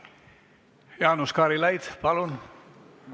Jaanus Karilaid, palun!